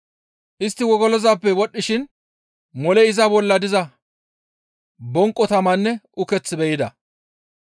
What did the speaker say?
Istti wogolozappe wodhdhishin moley iza bolla diza bonqo tamanne uketh be7ida.